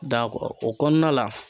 o kɔnɔna la